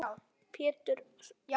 Pétur: Sængað?